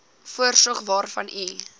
voorsorgsfonds waarvan u